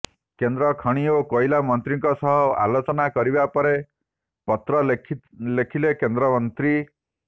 କେନ୍ଦ୍ର ଖଣି ଓ କୋଇଲା ମନ୍ତ୍ରୀଙ୍କ ସହ ଆଲୋଚନା କରିବା ପରେ ପତ୍ର ଲେଖିଲେ କେନ୍ଦ୍ରମନ୍ତ୍ରୀ